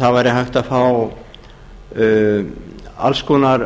það væri hægt að fá alls konar